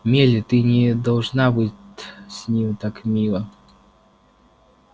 мелли ты не должна быть с ним так мила